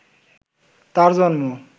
তাঁর জন্ম